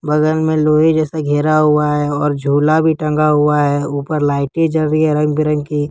बगल में लोहे जैसा घेरा हुआ है और झूला भी टंगा हुआ है ऊपर लाइटें जल रही है रंग बिरंगी।